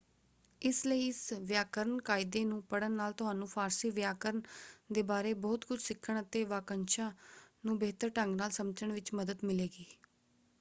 ਇਸ ਲਈ ਇਸ ਵਿਆਕਰਨ ਕਾਇਦੇ ਨੂੰ ਪੜ੍ਹਨ ਨਾਲ ਤੁਹਾਨੂੰ ਫਾਰਸੀ ਵਿਆਕਰਨ ਦੇ ਬਾਰੇ ਬਹੁਤ ਕੁਝ ਸਿੱਖਣ ਅਤੇ ਵਾਕੰਸ਼ਾਂ ਨੂੰ ਬਿਹਤਰ ਢੰਗ ਨਾਲ ਸਮਝਣ ਵਿੱਚ ਮੱਦਦ ਮਿਲੇਗੀ।